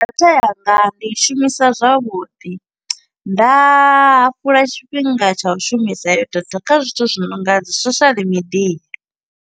Data yanga, ndi i shumisa zwavhuḓi. Nda hafhula tshifhinga tsha u shumisa heyo data, kha zwithu zwi nonga dzi social media.